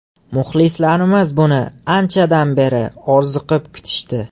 Muxlislarimiz buni anchadan beri orziqib kutishdi.